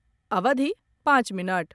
अवधि पाँच मिनट